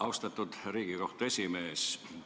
Austatud Riigikohtu esimees!